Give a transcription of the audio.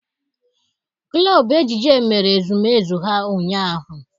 Klọb ejije mere ezumezu ha ụnyaahụ.